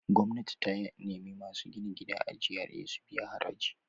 Gwamnati ta nemi masu gidaje a GRA su biya haraji.